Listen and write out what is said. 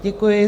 Děkuji.